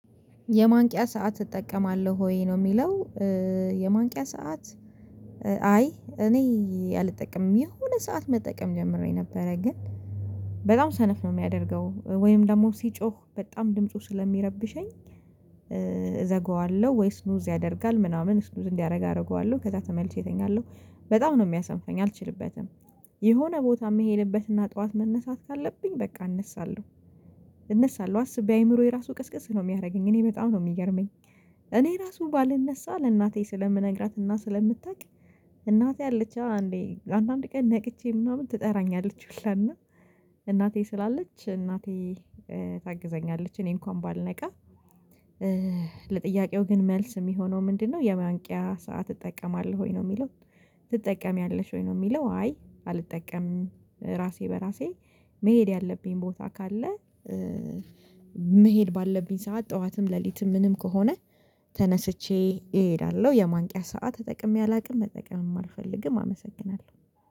የማንቂያ ሰዓት እጠቀማለሁ ወይ ነው የሚለው የማንቂያ ሰዓት አይ እኔ አልጠቅምም የሆነ ሰዓት መጠቀም ጀምሬ ነበረ ግን በጣም ሰነፍ ነው የሚያደርገው ወይም ደግሞ ሲጮህ በጣም ድምፁ ስለሚረብሸኝ እዘጋዋለሁ ወይስ ስሉዝ ያደርጋል ምናምን ስሉዝ እንዲያደርግ አደርገዋለሁ ከዛ ተመልሼ እተኛለሁ በጣም ነው የሚያሰንፈኝ አልችልበትም የሆነ ቦታ የምሄድበትና ጠዋት መነሳት ካለብኝ በቃ እነሳለሁ እነሳለሁ አስቤ አይምሮዬ ራሱ ቅስቅስ ነው የሚያደርገኝ እኔ በጣም ነው የሚገርመኝ እኔ ራሱ ባልነሳ ለእናቴ ስለምነግራትና ስለምታውቅ እናቴ አለች አዎ አንዴ አንዳንዴ ቀን ነቅቼ ምናምን ትጠራኛለች ሁላና እናቴ ስላለች እናቴ ታግዘኛለች እኔ እንኳን ባልነቃ ለጥያቄው ግን መልስ የሚሆነው ምንድነው የማንቂያ ሰዓት ትጠቀማለሁ ወይ ነው የሚለው ትጠቀሚያለሽ ወይ ነው የሚለው አይ አልጠቀምም ራሴ በራሴ መሄድ ያለብኝ ቦታ ካለ መሄድ ባለብኝ ሰዓት ጠዋትም ሌሊትም ምንም ከሆነ ተነስቼ እሄዳለሁ የማንቂያ ሰዓት ተጠቅሜ አላውቅም መጠቀም አልፈልግም አመሰግናለሁ።